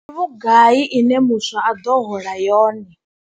Ndi vhugai ine muswa a ḓo hola yone.